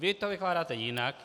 Vy to vykládáte jinak.